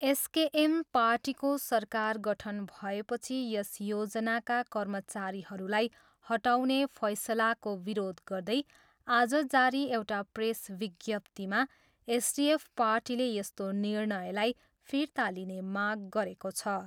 SKM पार्टीको सरकार गठन भएपछि यस योजनाका कर्मचारीहरूलाई हटाउने फैसलाको विरोध गर्दै आज जारी एउटा प्रेस विज्ञप्तीमा एसडिएफ पार्टीले यस्तो निर्णयलाई फिर्ता लिने माग गरेको छ।